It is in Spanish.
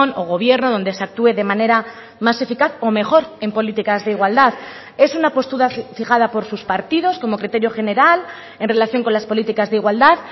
o gobierno donde se actúe de manera más eficaz o mejor en políticas de igualdad es una postura fijada por sus partidos como criterio general en relación con las políticas de igualdad